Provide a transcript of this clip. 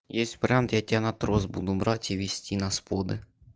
если прям я тебя на трос буду брать и везти на споты